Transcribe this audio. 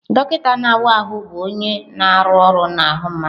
Dọkịta na-awa ahụ bụ onye na-arụ ọrụ n'ahụ mmadụ.